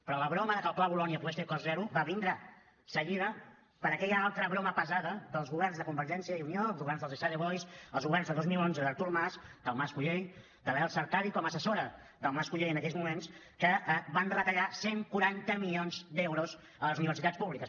però la broma de que el pla bolonya pogués ser a cost zero va vindre seguida per aquella altra broma pesada dels governs de convergència i unió els governs dels esade boys els governs de dos mil onze d’artur mas del mas colell de l’elsa artadi com a assessora del mas colell en aquells moments que van retallar cent i quaranta milions d’euros a les universitats públiques